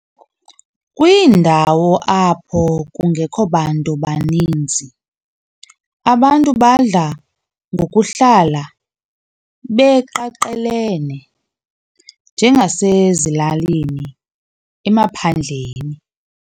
Kwiindawo apho kungekho bantu banninzi, abantu badla ngokuhlala beqaqelene, njengasezilalini emaphandleni.